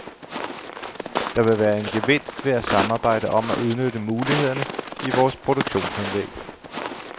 Der vil være en gevinst ved at samarbejde om at udnytte mulighederne i vores produktionsanlæg.